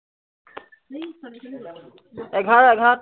এঘাৰ এঘাৰ